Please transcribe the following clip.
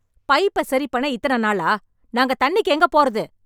பைப்பை சரி பண்ண இதனை நாளா? நாங்க தண்ணிக்கு எங்கே போறது?